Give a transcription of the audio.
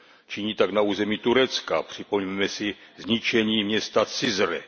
Činí tak na území Turecka, připomeňme si zničení města Cizre.